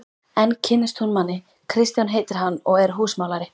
Enn kynnist hún manni, Kristján heitir hann og er húsamálari.